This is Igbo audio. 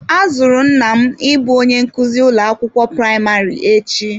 A zụrụ nna m ịbụ onye nkuzi ụlọ akwụkwọ praịmarị echi.